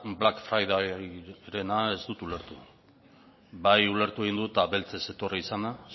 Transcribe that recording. black fridayrena ez dut ulertu bai ulertu egin dut beltzez etorri izana